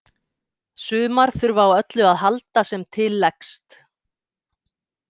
Sumar þurfa á öllu að halda sem til leggst.